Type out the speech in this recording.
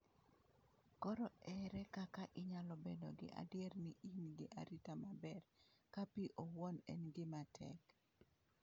Koro ere kaka inyalo bedo gi adier ni in gi arita maber ka pi owuon en gima tek?